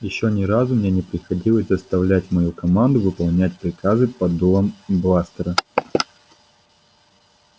ещё ни разу мне не приходилось заставлять мою команду выполнять приказы под дулом бластера